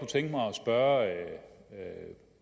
tænke mig at spørge